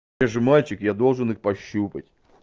я же мальчик я должен их пощупать